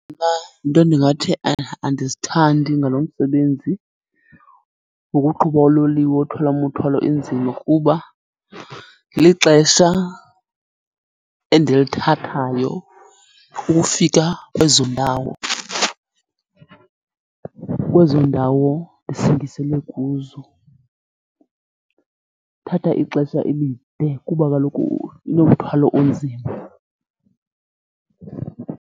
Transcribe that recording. Iinto endingathi andizithandi ngalo msebenzi wokuqhuba uloliwe othwala umuthwalo enzima kuba lixesha endilithathayo ukufika kwezo ndawo, kwezo ndawo ndisingisele kuzo. Uthatha ixesha elide kuba kaloku inomthwalo onzima.